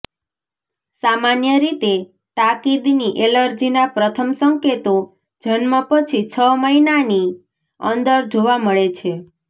સામાન્ય રીતે તાકીદની એલર્જીના પ્રથમ સંકેતો જન્મ પછી છ મહિનાની અંદર જોવા મળે છે